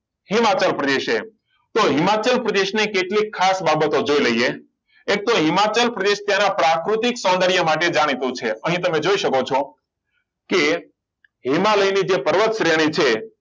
હિમાચલ પ્રદેશ છે તો હિમાચલ પ્રદેશ ને કેટલી ખાસ બાબતો જોઈ લઈએ એક તો હિમાચલ પ્રદેશ તેના પ્રાકૃતિક સૌંદર્ય માટે જાણીતું છે અહીં તમે જોઈ શકો છો કે હિમાલયની જે પર્વત શ્રેણી છે